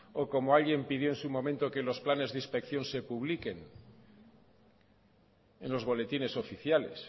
o como alguien pidió en su momento que los planes de inspección de publiquen en los boletines oficiales